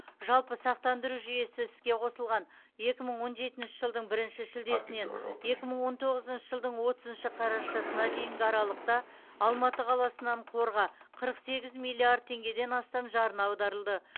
жалпы сақтандыру жүйесі іске қосылған екі мың он жетінші жылдың бірінші шілдесінен екі мың он тоғызыншы жылдың отызыншы қарашасына дейінгі аралықта алматы қаласынан қорға қырық сегіз миллиард теңгеден астам жарна аударылды